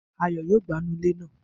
Ayo yóò gba inú ilé náà